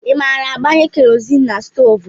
I maara agbanye Kerọzin na stoovú?